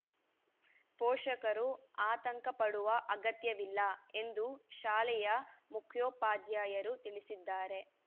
ಪೋಷಕರು ಆತಂಕಪಡುವ ಅಗತ್ಯವಿಲ್ಲ ಎಂದು ಶಾಲೆಯ ಮುಖ್ಯೋಪಾಧ್ಯಾಯರು ತಿಳಿಸಿದ್ದಾರೆ